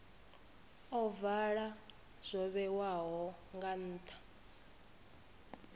ovala zwo vhewaho nga nha